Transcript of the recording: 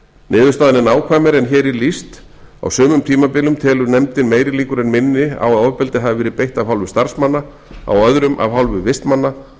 niðurstaðan er nákvæmari en hér er lýst á sumum tímabilum telur nefndin meiri líkur en minni á að ofbeldi hafi verið beitt af hálfu starfsmanna á öðrum af hálfu vistmanna